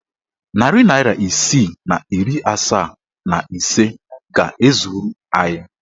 Narị naịra isii na iri asaa and ise ga-ezuru anyị.